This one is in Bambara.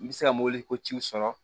N bɛ se ka mobili ko ciw sɔrɔ